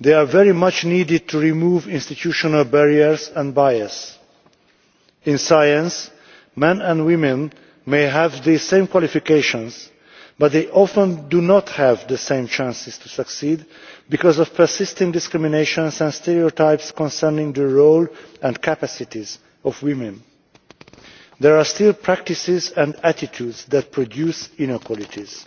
these are very much needed to remove institutional barriers and bias. In science, men and women may have the same qualifications, but they often do not have the same chances to succeed because of persisting discrimination and stereotypes concerning the role and capacities of women. There are still practices and attitudes that produce inequalities.